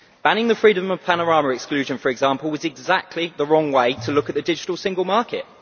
Banning the freedom of panorama exclusion, for example, was exactly the wrong way to look at the digital single market.